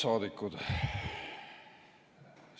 Head saadikud!